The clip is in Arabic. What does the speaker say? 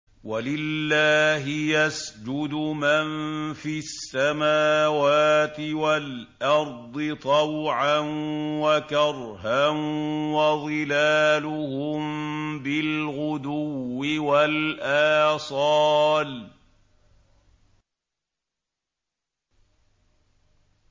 وَلِلَّهِ يَسْجُدُ مَن فِي السَّمَاوَاتِ وَالْأَرْضِ طَوْعًا وَكَرْهًا وَظِلَالُهُم بِالْغُدُوِّ وَالْآصَالِ ۩